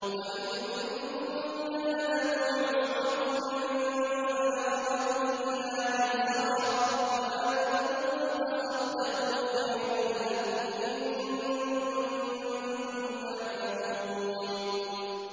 وَإِن كَانَ ذُو عُسْرَةٍ فَنَظِرَةٌ إِلَىٰ مَيْسَرَةٍ ۚ وَأَن تَصَدَّقُوا خَيْرٌ لَّكُمْ ۖ إِن كُنتُمْ تَعْلَمُونَ